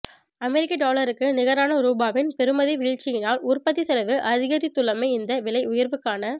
அமெரிக்க டொலருக்கு நிகரான ரூபாவின் பெறுமதி வீழ்ச்சியினால் உற்பத்தி செலவு அதிகரித்துள்ளமை இந்த விலை உயர்வுக்கான